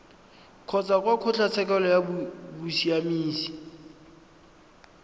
kgotsa kwa kgotlatshekelo ya bosiamisi